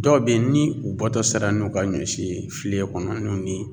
Dɔw be ye ni u bɔtɔ sera n'u ka ɲɔ si ye file kɔnɔ n'u ni